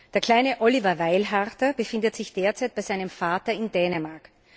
Der kleine Oliver Weilharter befindet sich derzeit bei seinem Vater in Dänemark.